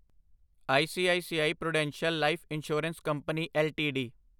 ICICI Prudential Life Insurance Company LTD